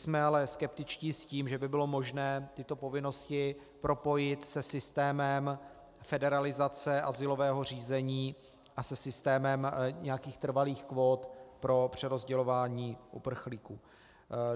Jsme ale skeptičtí s tím, že by bylo možné tyto povinnosti propojit se systémem federalizace azylového řízení a se systémem nějakých trvalých kvót pro přerozdělování uprchlíků.